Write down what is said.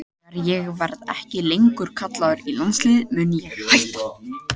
Þegar ég verði ekki lengur kallaður í landsliðið mun ég hætta.